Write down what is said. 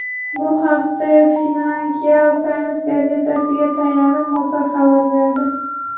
Bu haqda Financial Times gazetasiga tayanib, Motor xabar berdi .